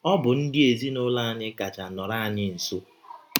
Ọ bụ ndị ezinụlọ anyị kacha nọrọ anyị nsọ.